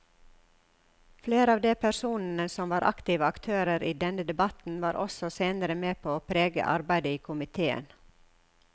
Flere av de personene som var aktive aktører i denne debatten var også senere med på å prege arbeidet i komiteen.